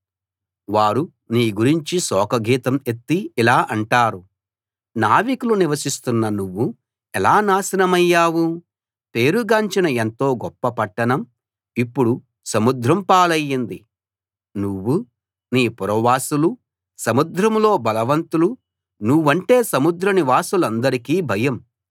వారు నీ గురించి శోకగీతం ఎత్తి ఇలా అంటారు నావికులు నివసిస్తున్న నువ్వు ఎలా నాశనమయ్యావు పేరుగాంచిన ఎంతో గొప్ప పట్టణంఇప్పుడు సముద్రం పాలయింది నువ్వూ నీ పురవాసులూ సముద్రంలో బలవంతులు నువ్వంటే సముద్ర నివాసులందరికీ భయం